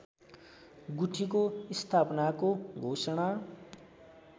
गुठीको स्थापनाको घोषणा